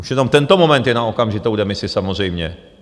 Už jenom tento moment je na okamžitou demisi samozřejmě.